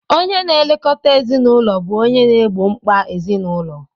Onye na-elekọta ezinụlọ bụ onye na-egbo mkpa ezinụlọ